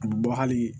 A bɛ bɔ hali